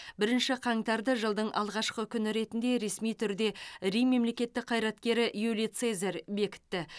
бірінші қаңтарды жылдың алғашқы күні ретінде ресми түрде рим мемлекеттік қайраткері юлий цезарь бекітті